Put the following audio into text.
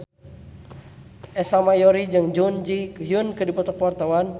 Ersa Mayori jeung Jun Ji Hyun keur dipoto ku wartawan